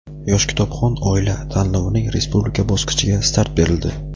"Yosh kitobxon oila" tanlovining respublika bosqichiga start berildi.